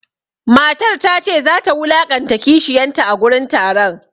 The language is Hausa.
Matar ta ce za ta wulaƙanta kishiyanta a gurin taron.